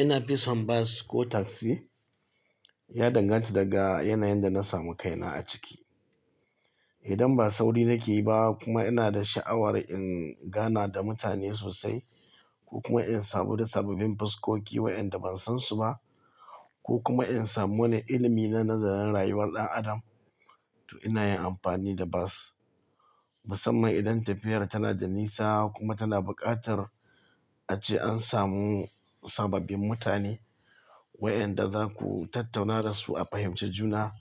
Ina fi son bas ko taksi? Ya danganta daga yanayin da na samu kaina a ciki. Idan ba sauri nake yi ba kuma ina da sha'awar in gana da mutane sosai ko kuma in samu sababbin fuskoki waɗanda ban san su ba ko kuma in samu wani ilimi na nazarin rayuwar ɗan adam, to ina yin amfani da bas. Musamman idan tafiyar tana da nisa kuma tana buƙatar ace an samu sababbin mutane waɗanda zaku tattauna da su a fahimci juna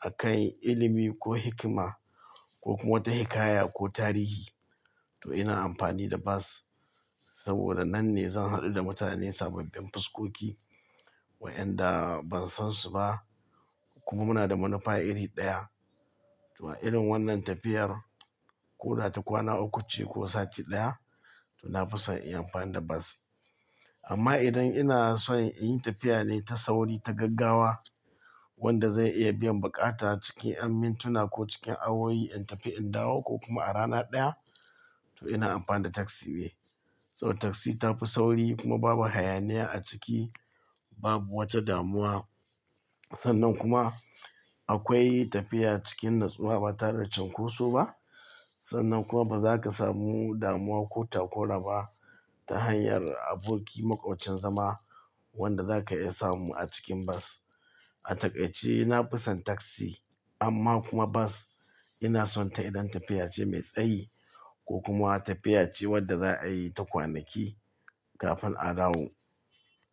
a kan ilimi ko hikima ko kuma wata hikaya ko tarihi, to ina amfani da bas. Saboda nan ne zan haɗu da mutane sababbin fuskoki waɗanda ban san su ba kuma muna da manufa iri ɗaya. To irin wannan tafiyar ko ta kwana uku ce ko sati ɗaya to na fi son in yi amfani da bas. Amma idan ina son in yi tafiya ne ta sauri ta gaggawa wanda zai iya biyan buƙata cikin mintuna ko cikin awowi in tafi in dawo ko kuma a rana ɗaya to ina amfani da taksi be. Saboda taksi ta fi sauri kuma babu hayaniya a ciki, babu wata damuwa. Sannan kuma akwai tafiya cikin natsuwa ba tare da cunkoso ba. Sannan kuma ba za ka samu damuwa ko takura ba ta hanyar abokin maƙocin zama wanda zaka iya samu a cikin bas. A takaice ina fi son taksi amma kuma bas ina son ta idan tafiya ce mai tsayi ko kuma tafiya ce wadda za a yi ta kwanaki kafin a dawo.